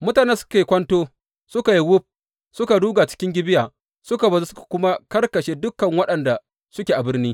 Mutanen da suke kwanto suka yi wuf suka ruga cikin Gibeya, suka bazu suka kuma karkashe dukan waɗanda suke a birnin.